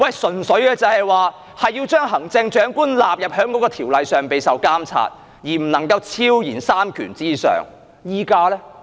純粹是要將行政長官納入該條例受監察，而不能夠超然在三權之上而已。